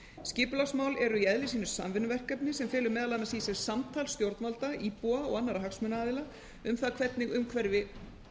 skipulagsmál eru í eðli sínu samvinnuverkefni sem felur meðal annars í sér samtal stjórnvalda íbúa og annarra hagsmunaaðila um það hvernig umhverfi